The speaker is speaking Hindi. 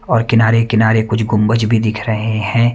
और किनारे-किनारे कुछ गुंबज भी दिख रहे हैं।